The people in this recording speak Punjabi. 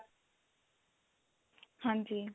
ਹਾਂਜੀ